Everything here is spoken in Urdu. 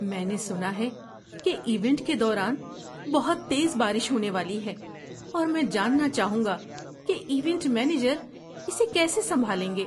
میں نے سنا ہے کہ ایونٹ کے دوران بہت تیز بارش ہونے والی ہے اور میں جاننا چاہوں گا کہ ایونٹ مینیجر اسے کیسے سنبھالیں گے۔